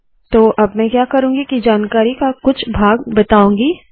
तो अब मैं क्या करुँगी के जानकारी का कुछ भाग बताउंगी